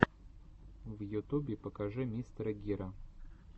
в ютубе покажи мистера гира